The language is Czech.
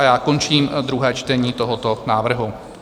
A já končím druhé čtení tohoto návrhu.